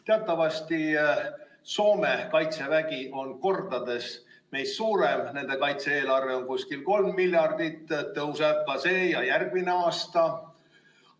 Teatavasti on Soome kaitsevägi kordades meie omast suurem, nende kaitse-eelarve on umbes 3 miljardit, see tõuseb ka sel ja järgmisel aastal.